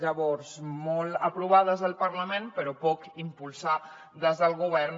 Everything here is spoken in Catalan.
llavors molt aprovar des del parlament però poc impulsar des del govern